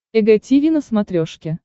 эг тиви на смотрешке